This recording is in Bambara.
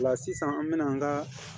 O la sisan an bɛna an ka